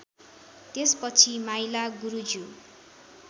त्यसपछि माइला गुरुज्यू